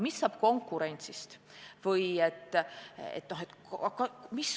Mis saab konkurentsist?